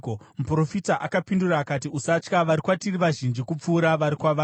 Muprofita akapindura akati, “Usatya. Vari kwatiri vazhinji kupfuura vari kwavari.”